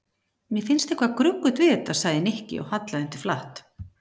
Mér finnst eitthvað gruggugt við þetta sagði Nikki og hallaði undir flatt.